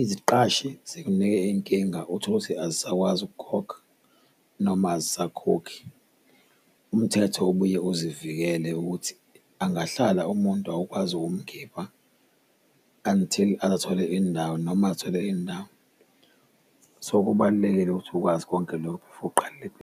iziqashi zikunike inkinga utholukuthi azisakwazi ukukhokha noma azisakhokhi. Umthetho ubuye uzivikele ukuthi angahlala umuntu awukwazi ukumkhipha until aze athole indawo noma athole indawo. So kubalulekile ukuthi ukwazi konke lokhu before uqale .